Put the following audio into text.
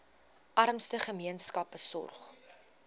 armste gemeenskappe sorg